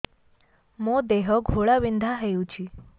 ମୋ ଦେହ ଘୋଳାବିନ୍ଧା ହେଉଛି